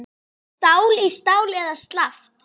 Stál í stál eða slappt?